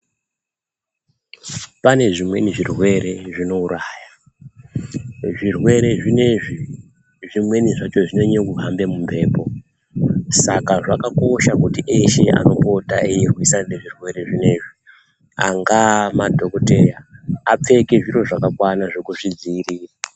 Pane zvimweni zvirwere zvinouraya. Zvirwere zvinezvi zvimweni zvacho zvinonyanye kuhambe mumhepo, saka zvakakosha kuti eshe anopota eirwisana nezvirwere zvinezvi angaa madhokodheya apfeke zviro zvakakwana zvekuzvidziirira.